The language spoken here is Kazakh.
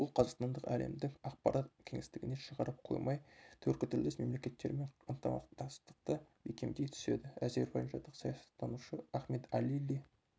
бұл қазақстанды әлемдік ақпарат кеңістігіне шығарып қоймай түркітілдес мемлекеттермен ынтымақтастықты бекемдей түседі әзербайжандық саясаттанушы ахмед алили